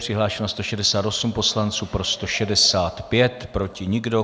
Přihlášeno 168 poslanců, pro 165, proti nikdo.